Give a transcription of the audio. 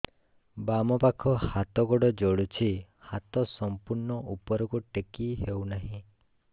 ବାମପାଖ ହାତ ଗୋଡ଼ ଜଳୁଛି ହାତ ସଂପୂର୍ଣ୍ଣ ଉପରକୁ ଟେକି ହେଉନାହିଁ